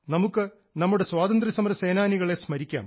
നമുക്ക് നമ്മുടെ സ്വാതന്ത്ര്യസമര സേനാനികളെ സ്മരിക്കാം